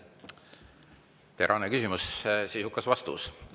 Terane küsimus, sisukas vastus!